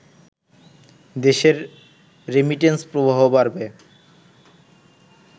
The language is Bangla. দেশের রেমিটেন্স প্রবাহ বাড়বে